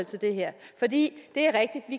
det her for det